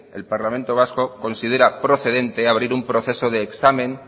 el parlamento vascoconsidera procedente abrir un proceso de examen